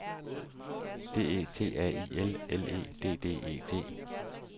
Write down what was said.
D E T A I L L E D D E T